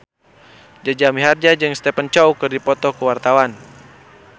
Jaja Mihardja jeung Stephen Chow keur dipoto ku wartawan